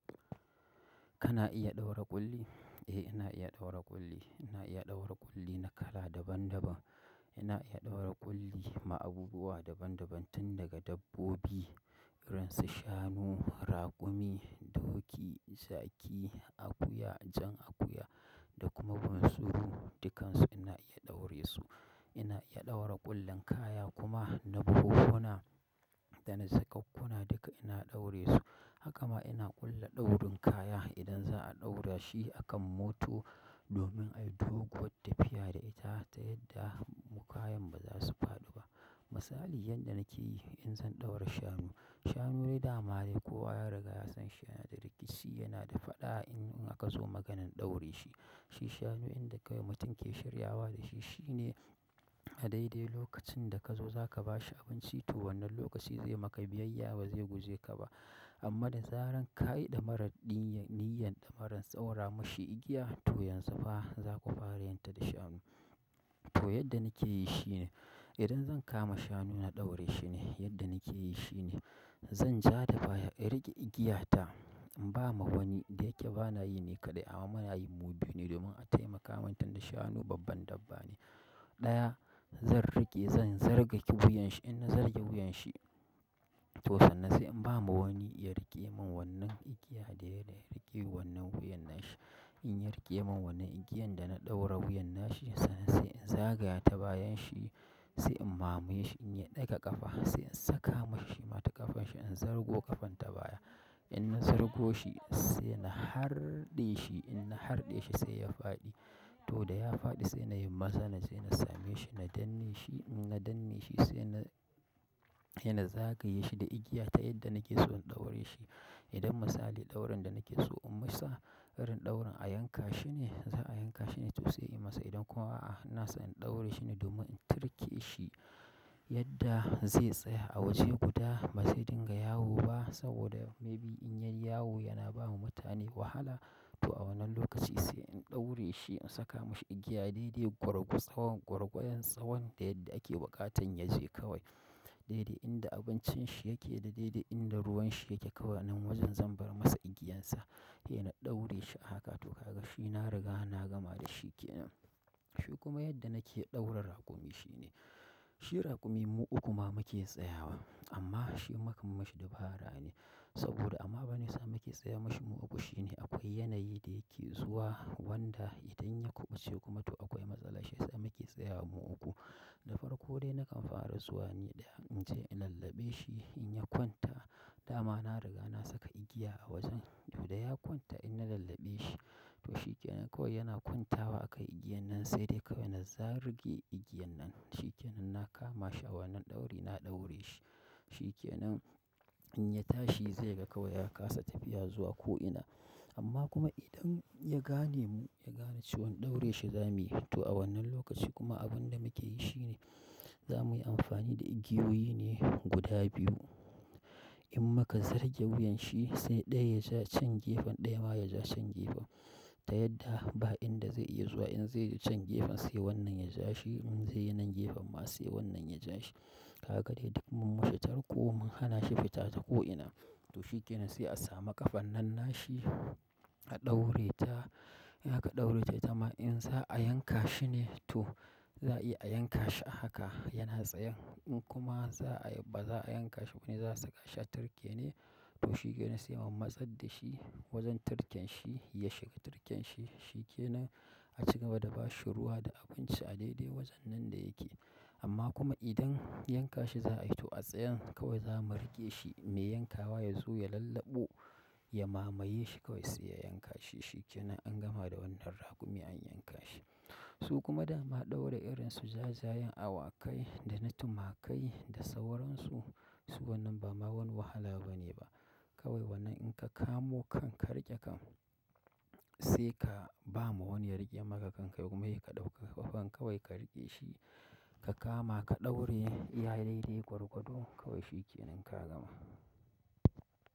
Kana iya ɗaura ƙulli? Eh, ina iya ɗaura ƙulli. Ina iya ɗaura ƙulli na kala daban daban. Ina iya ɗaura ƙulli dama abubuwa daban daban tun daga dabbobi irin su shanu, raƙumi, doki, zaki, akuya, jan akuya da kuma bunsuru, dukansu ina iya ɗaure su. Ina iya ɗaura ƙullin kaya kuma na buhuhuna da na jaƙukkuna duka ina ɗaure su. Hakama ina ƙulla ɗaurin kaya idan za a ɗaura shi akan mota domin a yi doguwar tafiya da ita ta yadda mu kayan ba za su faɗi ba. Misali yadda nake yi in zan ɗaura shanu. Shanu dai dama dai kowa ya riga ya san shi yana da rikici, yana da faɗa in aka zo maganan ɗaure shi. Shi shanu inda kai mutum ke shiryawa da shi shine a daidai lokacin da ka zo za ka ba shi abinci to wannan lokaci zai maka biyayya ba zai guje ka ba. Amma da zarar ka yi ɗamarar niyyan ɗamarar ɗaura mashi igiya to yanzu fa zaku fara yinta da shanu. To yadda nake yi shi ne idan zan kama shanu na ɗaure shi ne yadda nake yi shi ne zan ja da baya in riƙe igiyata, in ba ma wani da yake ba na yi ne kaɗai amma muna yi mu biyu ne domin a taimaka min tunda shanu babban dabba ne. Ɗaya zan riƙe zan zargake wuyan shi in na zarge wuyan shi to sannan sai in ba ma wani ya riƙe min wannan igiya dai dai riƙe wannan wuyan nan shi. In ya riƙe min wannan igiyan da na ɗaura wuyan na shi sannan sai in zagaya ta bayan shi sai in mamaye shi in ya ɗaga ƙafa sai in saka mashi shi ma ta ƙafan shi in zargo ƙafan ta baya. In na zargo shi sai na harɗe shi in na harɗe shi sai ya faɗi. To da ya faɗi sai na yi maza naje na same shi na danne shi in na danne shi sai na, yana zagaye shi da igiya ta yadda nake so in ɗaure shi. Idan misali ɗaurin da nake so in masa irin ɗaurin a yanka shi ne, za a yanka shi ne to sai in masa idan kuma a'a na so in ɗaure shi ne domin in tirke shi yadda zai tsaya a waje guda ba sai dinga yawo ba saboda maybe in ya yi yawo yana ba mu mutane wahala to a wannan lokaci sai in ɗaure shi in saka mashi igiya daidai gwargwadon tsawon da yadda ake buƙatan ya je kawai. Daidai inda abincin shi yake da daidai inda ruwan shi yake kawai anan wajen zan bar masa igiyansa. Eh na ɗaure shi a haka to ka ga shi na riga na gama da shi ke nan. Shi kuma yadda nake ɗaure raƙumi shi ne, shi raƙumi mu uku ma muke tsayawa amma shi mukam mishi dabarane saboda amma meyasa muke tsaya mashi mu uku shi ne akwai yanayi da yake zuwa wanda idan ya kuɓuce kuma to akwai matsala shiyasa muke tsayawa mu uku. Da farko dai nakan fara zuwa ne da in je in lallabe shi in ya kwanta dama na riga na saka igiya a wajen to da ya kwanta in na lallabe shi to shi ke nan kawai yana kwantawa akan igiyan nan sai dai kawai na zaruƙe igiyan nan. Shi ke nan na kama shi a wannan ɗauri na ɗaure shi. Shikenan in ya tashi zai ga kawai ya kasa tafiya zuwa ko'ina. Amma kuma idan ya gane mu ya gane cewan ɗaure shi za muyi to a wannan lokaci kuma abin da muke yi shi ne za mu yi amfani da igiyoyi ne guda biyu. In muka zarge wuyan shi sai ɗaya ya ja can gefen ɗaya ma ya ja can gefen ta yadda ba inda zai iya zuwa in zai can gefen sai wannan ya ja shi in zai wannan gefen ma sai wannan ya ja shi. Haka dai duk mun mishi tarko mun hanashi fita ta ko'ina. To shi ke nan sai a samu ƙafar nan nashi a ɗaureta, in aka ɗaureta itama in za'a yanka shi ne to za a iya a yanka shi a haka yana tsayan. In kuma za a, ba za'a yanka shi bane za'a saka shi a turke ne to shi kenan sai mu matsadda shi wajen turken shi ya shiga tirken shi. Shi ke nan a ci gaba da ba shi ruwa da abinci a daidai wajen nan da yake. Amma kuma idan yanka shi za a yi to a tsayan kawai za mu riƙe shi mai yankawa ya zo ya lallabo ya mamaye shi kawai sai yanka shi. Shi ke nan an gama da wannan raƙumi an yanka shi. Su kuma dama ɗaura irin su jajayen awakai da na tumakai da sauransu su wannan ba ma wani wahala bane ba. Kawai wannan in ka kamo kan ka riƙe kan sai ka ba ma wani ya riƙe maka kan kai kuma ya ka ɗauki ƙafan kawai ka riƙe shi ka kama ka ɗaure iya daidai gwargwado kawai shikenan ka gama.